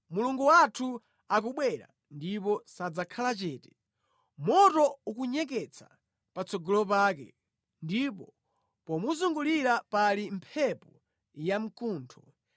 Mulungu wathu akubwera ndipo sadzakhala chete; moto ukunyeketsa patsogolo pake, ndipo pomuzungulira pali mphepo yamkuntho